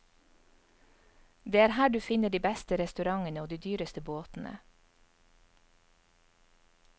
Det er her du finner de beste restaurantene og de dyreste båtene.